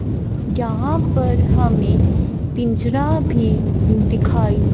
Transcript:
जहां पर हमें पिंजरा भी दिखाई --